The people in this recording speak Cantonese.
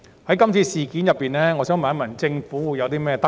在今次事件中，我想問政府有何得着？